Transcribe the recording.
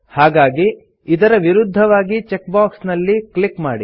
ಹಾಗಾಗಿ ಇದರ ವಿರುದ್ಧವಾಗಿ ಚೆಕ್ ಬಾಕ್ಸ್ ನಲ್ಲಿ ಕ್ಲಿಕ್ ಮಾಡಿ